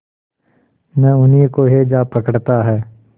न उन्हीं को हैजा पकड़ता है